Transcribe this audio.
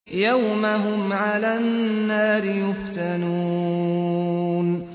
يَوْمَ هُمْ عَلَى النَّارِ يُفْتَنُونَ